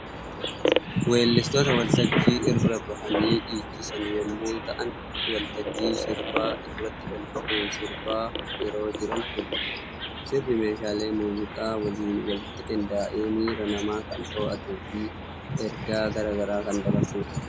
Weellistoota waltajjii irra bahanii dhiichisan yommuu ta'an waltajjii sirbaa irratti ol bahuun sirbaa yeroo jiran mul'atu. Sirbi meeshaalee muuziq Waliin walitti qindaa'ee miiraa namaa kan to'atuu fi ergaa gara garaa kan dabarsudha.